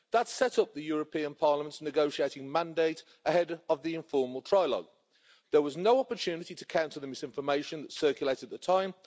That set up the European Parliament's negotiating mandate ahead of the informal trilogue. There was no opportunity to counter the misinformation circulated at the time.